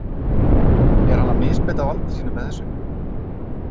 Er hann að misbeita valdi sínu með þessu?